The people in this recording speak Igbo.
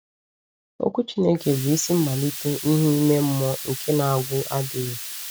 Okwu Chineke bụ isi mmalite ìhè ime mmụọ nke na-agwụ adịghị.